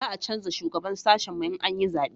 za a canja shugaban sashin mu in an yi zabe